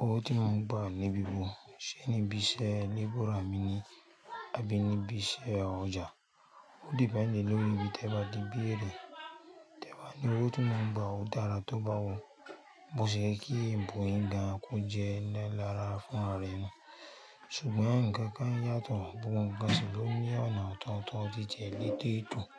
Owó tí mo ń gba níbi wo? Ṣé níbi iṣẹ́ labor mi ni? Àbí níbi iṣẹ́ ọjà? Ó depend lórí ibi tẹ́ ba ti bi èrè. Tẹ́ ba ní owó tí mo ń gba ó dára tó báwo. Bó ṣe yẹ ẹbọ ń ga kó jẹ́ ẹlẹ́ra fún anu. Ṣùgbọ́n nǹkan kan yàtọ̀, gbogbo nǹkan sì ló ní ọ̀nà ọ̀tọ̀ootọ̀ jíjẹ ní tètò.